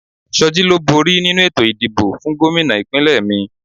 Soji ló bóri nínu ètò ìdìbò fún Gómìnà ìpínlẹ̀ mi